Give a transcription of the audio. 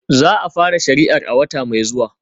Za a fara shari'ar a wata mai zuwa